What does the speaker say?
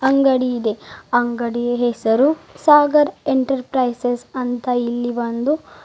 ಅಂಗಡಿ ಇದೆ ಅಂಗಡಿ ಹೆಸರು ಸಾಗರ್ ಎಂಟರ್ಪ್ರೈಸಸ್ ಅಂತ ಇಲ್ಲಿ ಒಂದು--